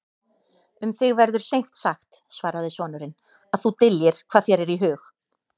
Um þig verður seint sagt, svaraði sonurinn,-að þú dyljir hvað þér er í hug.